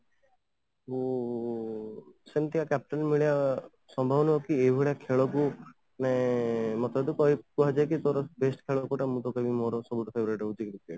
ମୁଁ ସେମିତିଆ captain ମିଳିବା ସମ୍ଭବ ନଥିବେ ଏଇଭଳିଆ ଖେଳ କୁ ମାନେ ମତେ ଯଦି କୁହାଯାଏ କି ତୋର best ଖେଳ କୋଉଟା ମୁଁ ତ କହିବି cricket